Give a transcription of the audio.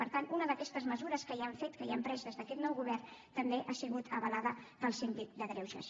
per tant una d’aquestes mesures que ja hem fet que ja hem pres des d’aquest nou govern també ha sigut avalada pel síndic de greuges